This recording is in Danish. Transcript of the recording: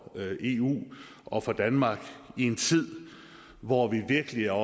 eu og for danmark i en tid hvor vi virkelig er